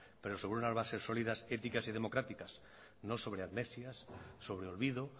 pero sobre unas bases sólidas éticas y democráticas no sobre amnesias sobre olvido